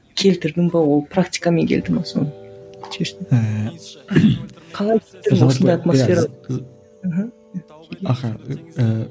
келтірдің бе ол практикамен келді ме соны